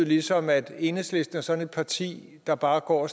ligesom at enhedslisten er sådan et parti der bare går